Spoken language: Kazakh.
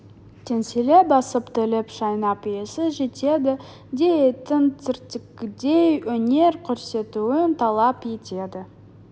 теңселе басып тілін шайнап иесі жетеді де иттің цирктегідей өнер көрсетуін талап етеді